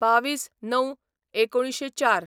२२/०९/१९०४